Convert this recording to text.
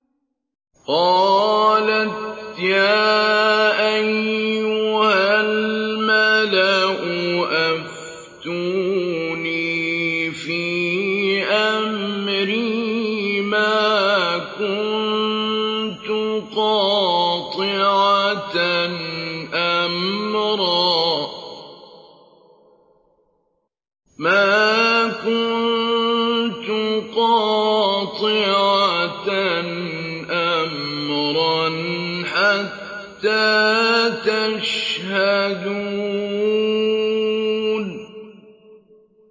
قَالَتْ يَا أَيُّهَا الْمَلَأُ أَفْتُونِي فِي أَمْرِي مَا كُنتُ قَاطِعَةً أَمْرًا حَتَّىٰ تَشْهَدُونِ